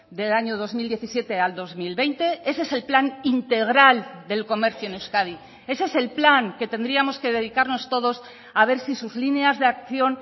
del año dos mil diecisiete al dos mil veinte ese es el plan integral del comercio en euskadi ese es el plan que tendríamos que dedicarnos todos a ver si sus líneas de acción